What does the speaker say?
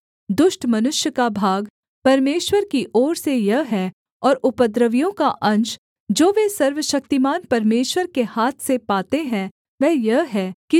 दुष्ट मनुष्य का भाग परमेश्वर की ओर से यह है और उपद्रवियों का अंश जो वे सर्वशक्तिमान परमेश्वर के हाथ से पाते हैं वह यह है कि